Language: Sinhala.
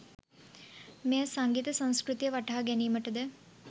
මෙය සංගීත සංස්කෘතිය වටහා ගැනීමට ද